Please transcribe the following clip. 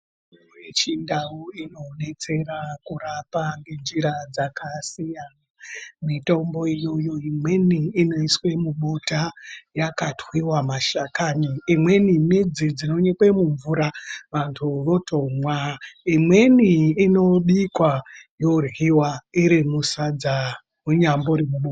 Mitombo yechindau inodetsera kurapa ngenjira dzakasiyana , mitombo iyoyo imweni inoiswe mubota yakatwiwa mashakani, imweni midzi dzinonyikwe mvura vantu votomwa imweni inobikwa yoryiwa iro musadza kunyambori ku.